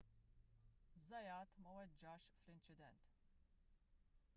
zayat ma weġġax fl-inċident